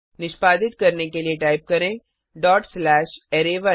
निष्पादित करने के लिए टाइप करें डॉट स्लैश अराय1